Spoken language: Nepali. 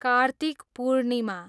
कार्तिक पूर्णिमा